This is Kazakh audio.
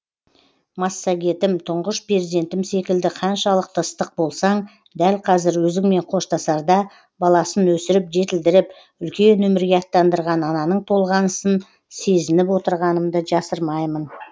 массагетім тұңғыш перзентім секілді қаншалықты ыстық болсаң дәл қазір өзіңмен қоштасарда баласын өсіріп жетілдіріп үлкен өмірге аттандырған ананың толғанысын сезініп отырғанымды жасырмаймын